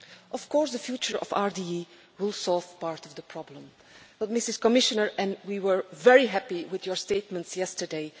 Of course, the future of RDE will solve part of the problem but, Madam Commissioner, we were very happy with your statements yesterday.